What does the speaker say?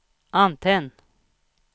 antenn